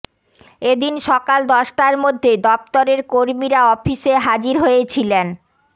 এদিন সকাল দশটার মধ্যে দফতরের কর্মীরা অফিসে হাজির হয়েছিলেন